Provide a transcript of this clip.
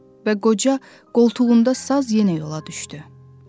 Və qoca qoltuğunda saz yenə yola düşdü.